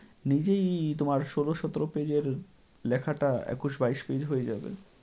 নিজেই তোমার ষোল সতেরো page এর লেখাটা একুশ বাইশ page হয়ে যাবে।